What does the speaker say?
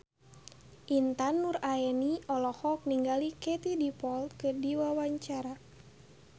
Intan Nuraini olohok ningali Katie Dippold keur diwawancara